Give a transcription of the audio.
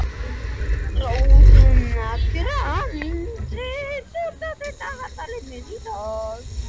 Rósinkransa, opnaðu dagatalið mitt.